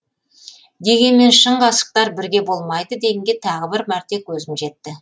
дегенмен шын ғашықтар бірге болмайды дегенге тағы бір мәрте көзім жетті